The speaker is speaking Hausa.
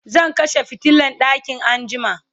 zan kashe fitilan ɗakin anjima